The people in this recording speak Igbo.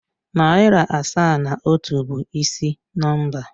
Narị asaa na otu bụ ịsị nọmba.